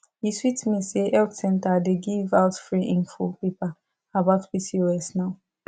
e sweet me say health center dey give out free info paper about pcos now